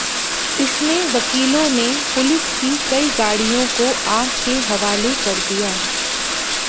इसमें वकीलों ने पुलिस की कई गाड़ियों को आग के हवाले कर दिया